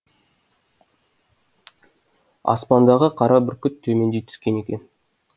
аспандағы қара бүркіт төмендей түскен екен